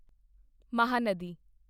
Mahanadi